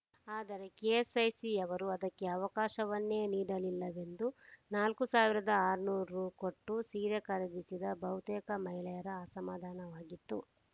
ಆದರೆ ಕೆಎಸ್‌ಐಸಿಯವರು ಅದಕ್ಕೆ ಅವಕಾಶವನ್ನೇ ನೀಡಲಿಲ್ಲವೆಂದು ನಾಲ್ಕ್ ಸಾವಿರದ ಆರುನೂರು ರು ಕೊಟ್ಟು ಸೀರೆ ಖರೀದಿಸಿದ ಬಹುತೇಕ ಮಹಿಳೆಯರ ಅಸಮಾಧಾನವಾಗಿತ್ತು